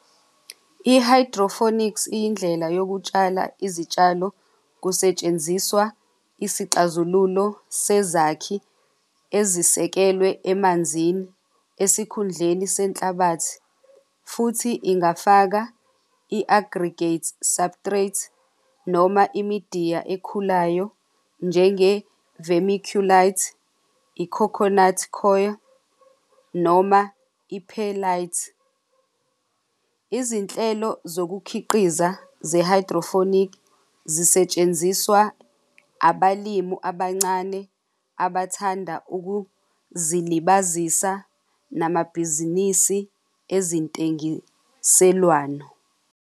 I-hydroponics, iyindlela yokutshala izitshalo kusetshenziswa isixazululo sezakhi ezisekelwe emanzini, esikhundleni senhlabathi. Futhi ingafaka i-aggregate subtract, noma imidiya ekhulayo njenge vermiculite, i-coconut coir noma i-perlite. Izinhlelo zokukhiqiza ze-hydrophonic zisetshenziswa abalimu abancane abathanda ukuzilibazisa namabhizinisi ezintengiselwano.